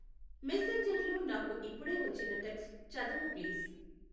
మెసెంజర్లో నాకు ఇప్పుడే వచ్చిన టెక్స్ట్ చదువు ప్లీజ్.